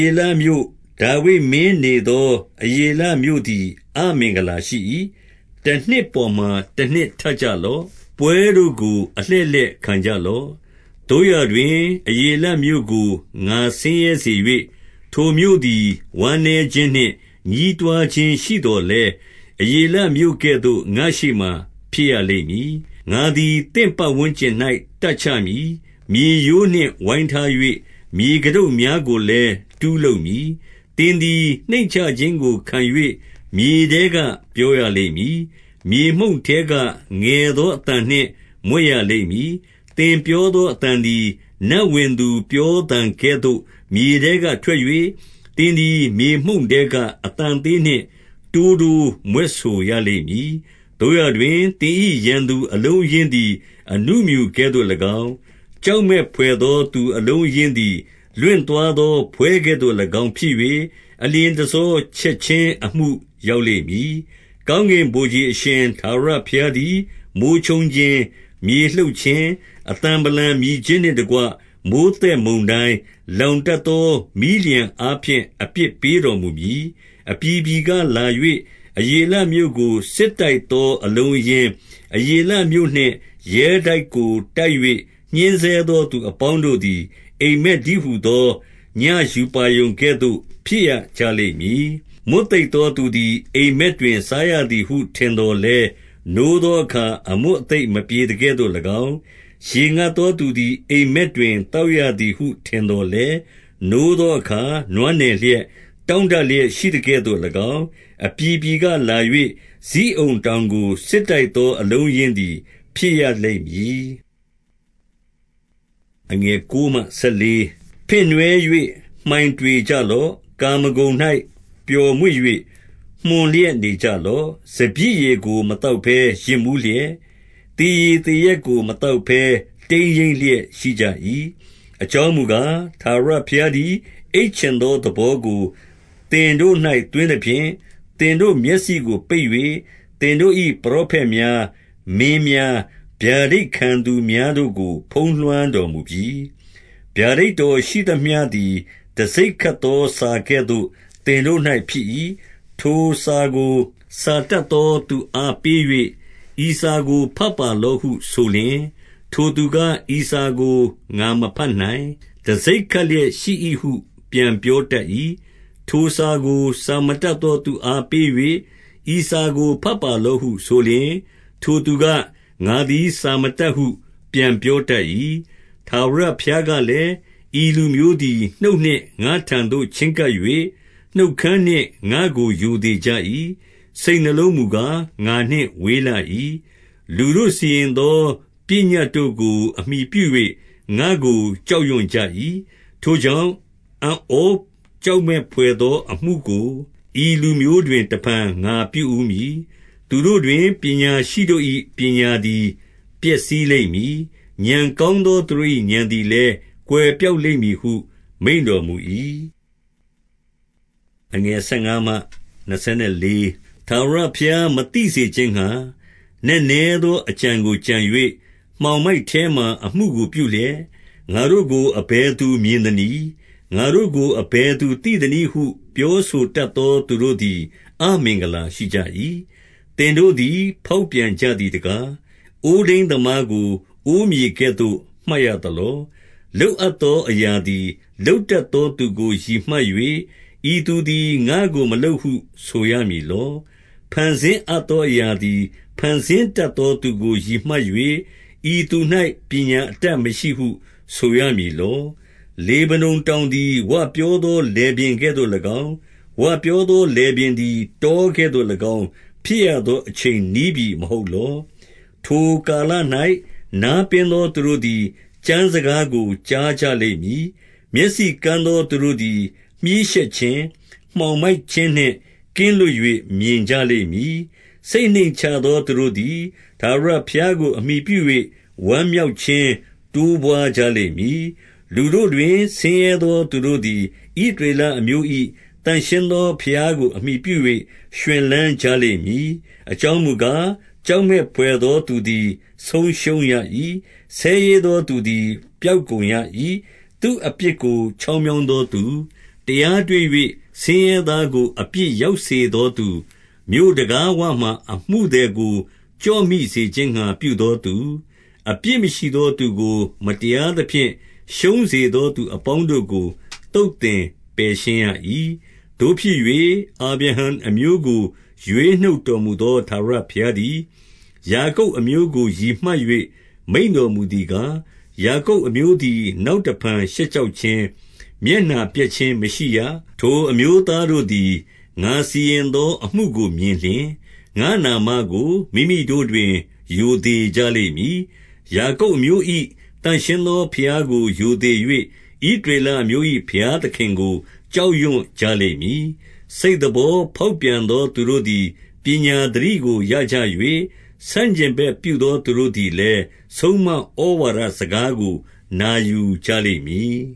ေလမြို့၊ ဒါဝိဒ်မင်းနေသော အရေလမြို့ သည် အမင်္ဂလာရှိ၏။ တနှစ်ပေါ်မှာ တနှစ်ထပ်ကြလော့။ ပွဲတို့ကို အလှည့်လှည့်ခံကြလော့။ 2 သို့ရာတွင်၊ အရေလမြို့ကို ငါဆင်းရဲစေ၍၊ ထို မြို့သည် ဝမ်းနည်းခြင်းနှင့် ညည်းတွားခြင်းရှိသော်လည်း၊ အရေလမြို့ကဲ့သို့ ငါ့ရှေ့မှာ ဖြစ်ရလိမ့်မည်။ 3 ငါသည် သင့်ပတ်ဝန်းကျင်၌ တပ်ချမည်။ မြေရိုး နှင့် ဝိုင်းထား၍၊ မြေကတုပ်များကိုလည်း တူးလုပ်မည်။ 4 သင်သည် နှိမ့်ချခြင်းကို ခံ၍မြေထဲက ပြောရ လိမ့်မည်။ မြေမှုန့်ထဲက ငယ်သောအသံနှင့် မြွက်ရလိမ့် မည်။ သင်ပြောသောအသံသည် နတ်ဝင်သူပြောသံကဲ့သို့ မြေထဲကထွက်၍၊ သင်သည် မြေမှုန့်ထဲက အသံသေးနှင့် တိုးတိုးမြွက်ဆိုရလိမ့်မည်။ 5 သို့ရာတွင်၊သင်၏ ရန်သူအလုံးအရင်းသည် အ ဏုမြူကဲ့သို့၎င်း၊ ကြောက်မက်ဘွယ်သောသူ အလုံးအရင်း သည် လွင့်သွားသော ဖွဲကဲ့သို့၎င်းဖြစ်၍၊ အလျင်တဆော ချက်ခြင်း အမှုရောက်လိမ့်မည်။ 6 ကောင်းကင်ဗိုလ်ခြေ အရှင်ထာဝရဘုရားသည်၊ မိုဃ်းချုန်းခြင်း၊ မြေလှုပ်ခြင်း၊ အသံဗလံမြည်ခြင်းနှင့် တ ကွ မိုဃ်းသက်မုန်တိုင်း၊ လောင်တတ်သော မီးလျှံအားဖြင့် အပြစ်ပေးတော်မူမည်။ 7 အပြည်ပြည်ကလာ၍၊ အရေလမြို့ကို စစ်တိုက် သော အလုံးအရင်း၊ အရေလမြို့နှင့် ရဲတိုက်ကိုတိုက်၍ ညှဉ်းဆဲသော သူအပေါင်းတို့သည် အိပ်မက်တည်းဟူ သော ညဉ့်ရူပါရုံကဲ့သို့ ဖြစ်ရကြလိမ့်မည်။ 8 မွတ်သိပ်သောသူသည် အိပ်မက်တွင်စားရသည် ဟုထင်သော်လည်း၊ နိုးသောအခါ အမွတ်အသိပ်မပြေသ ကဲ့သို့၎င်း၊ ရေငတ်သူသည် အိပ်မက်တွင် သောက်ရသည် ဟုထင်သော်လည်း၊ နိုးသောအခါ နွမ်းနယ်လျက်၊ တောင့် တလျက်ရှိသကဲ့သို့၎င်း၊ အပြည်ပြည်ကလာ၍၊ ဇိအုန် တောင်ကိုစစ်တိုက်သော အလုံးအရင်းသည်ဖြစ်ရလိမ့် မည်။ 9 ဖင့်နွှဲ၍ မှိုင်တွေကြလော့။ ကာမဂုဏ်၌ ပျော် မွေ့၍ မွှန်လျက်နေကြလော့။ စပျစ်ရည်ကို မသောက်ဘဲ ယစ်မူးလျက်၊ သေရည်သေရက်ကို မသောက်ဘဲ တိမ်း ယိမ်းလျက် ရှိကြ၏။ 10 အကြောင်းမူကား၊ ထာဝရဘုရားသည် အိပ်ချင် သောသဘောကို သင်တို့၌ သွင်းသဖြင့်၊ သင်တို့မျက်စိကို ပိတ်၍၊ သင်တို့၏ ပရောဖက်များ၊ မင်းများ၊ ဗျာဒိတ်ခံသူ များတို့ကို ဖုံးလွှမ်းတော်မူပြီ။ 11 ဗျာဒိတ်တော်ရှိသမျှသည် တံဆိပ်ခတ်သောစာ ကဲ့သို့ သင်တို့၌ ဖြစ်၏။ ထိုစာသည် စာတတ်သောသူအား ပေး၍၊ ဤစာကို ဘတ်ပါလော့ဟု ဆိုလျှင်၊ ထိုသူက၊ ဤစာ ကို ငါမဘတ်နိုင်။ တံဆိပ်ခတ်လျက်ရှိ၏ဟု ပြန်ပြောတတ် ၏။ 12 ထိုစာကို စာမတတ်သောသူအားပေး၍၊ ဤစာ ကိုဘတ်ပါလော့ဟု ဆိုလျှင်၊ ထိုသူက၊ ငါသည် စာမတတ် ဟုပြန်ပြောတတ်၏။ 13 ထာဝရဘုရားကလည်း၊ ဤလူမျိုးသည် နှုတ်နှင့် ငါ့ထံသို့ ချဉ်းကပ်၍၊ နှုတ်ခမ်းနှင့် ငါ့ကို ရိုသေကြ၏။ စိတ် နှလုံးမူကား ငါနှင့်ဝေးလှ၏။ လူတို့စီရင်သော ပညတ်တို့ ကို အမှီပြု၍ ငါ့ကိုကြောက်ရွံ့ကြ၏။ 14 ထိုကြောင့်၊ အံ့ဩကြောက်မက်ဘွယ်သောအမှု ကို ဤလူမျိုးတွင် တဖန် ငါပြုဦးမည်။ သူတို့တွင် ပညာရှိ တို့၏ ပညာသည် ပျက်စီးလိမ့်မည်။ ဥာဏ်ကောင်းသော သူတို့၏ ဥာဏ်လည်း ကွယ်ပျောက်လိမ့်မည်ဟု မိန့်တော် မူ၏။ 15 ထာဝရဘုရား မသိစေခြင်းငှါ၊ နက်နဲသောအ ကြံကို ကြံ၍၊ မှောင်မိုက်ထဲမှာ အမှုကိုပြုလျက်၊ ငါတို့ကို အဘယ်သူမြင်သနည်း။ ငါတို့ကို အဘယ်သူသိသနည်းဟု ပြောဆိုတတ်သောသူတို့သည် အမင်္ဂလာရှိကြ၏။ 16 သင်တို့သည် ဖောက်ပြန်ကြသည်တကား။ အိုး ထိန်းသမားကို၊ အိုးမြေကဲ့သို့ မှတ်ရမည်လော။ လုပ်အပ် သောအရာသည် လုပ်တတ်သောသူကို ရည်မှတ်၍၊ ဤသူ သည် ငါ့ကိုမလုပ်ဟု ဆိုရမည်လော၊ ဖန်ဆင်းအပ်သော အရာသည် ဖန်ဆင်းတတ်သောသူကို ရည်မှတ်၍၊ ဤသူ ၌ ပညာအတတ်မရှိဟု ဆိုရမည်လော။ 17 လေဗနုန်တောင်သည် ဝပြောသောလယ်ပြင်ကဲ့ သို့၎င်း၊ ဝပြောသောလယ်ပြင်သည် တောကဲ့သို့၎င်း ဖြစ်ရ သောအချိန်နီးပြီ မဟုတ်လော။ 18 ထိုကာလ၌ နားပင်းသောသူတို့သည် ကျမ်းစ ကားကို ကြားကြ လိမ့်မည်။ မျက်စိကန်းသောသူတို့သည် မြှေးရှက်ခြင်း၊ မှောင်မိုက်ခြင်းနှင့် ကင်းလွတ်၍ မြင်ကြ လိမ့်မည်။ 19 စိတ်နှိမ့်ချသော သူတို့သည် ထာဝရဘုရားကို အမှီပြု၍၊ ဝမ်းမြောက်ခြင်း တိုးပွါးကြလိမ့်မည်။ လူတို့တွင် ဆင်းရဲသောသူတို့သည် ဣသရေလအမျိုး၏ သန့်ရှင်း သောဘုရားကို အမှီပြု၍ ရွှင်လန်းကြလိမ့်မည်။ 20 အကြောင်းမူကား၊ ကြောက်မက်ဘွယ်သောသူ သည် ဆုံးရှုံးရ၏။ ဆဲရေးသောသူသည် ပျောက်ကုန်ရ၏။ သူ့အပြစ်ကို ချောင်းမြောင်းသောသူ၊ 21 တရားတွေ့၍ ဆင်းရဲသောတို့ အပြစ်ရောက်စေ သောသူ၊ မြို့တံခါးဝမှာ အမှုသည်ကို ကျော့မိစေခြင်းငှါ ပြုသောသူ၊ အပြစ်မရှိသောသူကို မတရားသဖြင့် ရှုံးစေ သောသူ အပေါင်းတို့ကို သုတ်သင်ပယ်ရှင်းရ၏။ 22 သို့ဖြစ်၍ အာဗြဟံ အမျိုးကို ရွေးနှုတ်တော်မူ သော ထာဝရဘုရားသည်၊ ယာကုပ်အမျိုးကိုရည်မှတ်၍ မိန့်တော်မူသည်ကား၊ ယာကုပ်အမျိုးသည် နောက်တဖန် ရှက်ကြောက်ခြင်း၊ မျက်နှာပျက်ခြင်း မရှိရ။ 23 ထိုအမျိုးသားတို့သည် ငါစီရင်သောအမှုကိုမြင် လျှင်၊ ငါ့နာမကို မိမိတို့တွင် ရိုသေကြလိမ့်မည်။ ယာကုပ်အ မျိုး၏ သန့်ရှင်းသောဘုရားကို ရိုသေ၍၊ ဣသရေလအမျိုး ၏ ဘုရားသခင်ကို ကြောက်ရွံ့ကြလိမ့်မည်။ 24 စိတ်သဘောဖောက်ပြန်သောသူတို့သည် ပညာ သတိကို ရကြ၍၊ ဆန့်ကျင်ဘက်ပြုသော သူ တို့သည်လည်း၊ ဆုံးမဩဝါဒစကားကို နာယူကြလိမ့်မည်